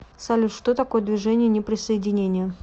салют что такое движение неприсоединения